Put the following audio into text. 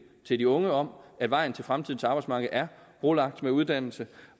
til de unge om at vejen til fremtidens arbejdsmarked er brolagt med uddannelse